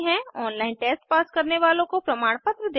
online test pass करने वालों को प्रमाणपत्र देते हैं